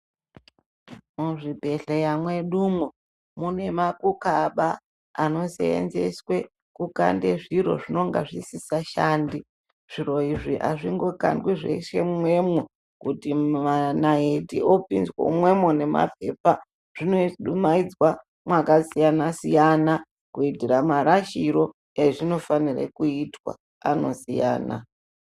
Muzvibhedhleya mwedumwo mune makukaba anosenzeswe kukande zviro zvinonga zvisikashandi. Zviro izvi hazvingokandwi zveshe mumwemo kuti manaiti opinzwe mumwemo nemapepa zvinodumaidzwa mwakasiyana-siyana, kuitira marashiro ezvinofanire kuitwa anosiyana.